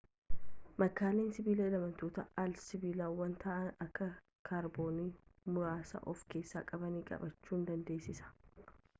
makaalee sibiilaa elemeentota al-sibiilawaa ta'an akka kaarboonii muraasa of keessaa qabanis qabaachuu dandeessa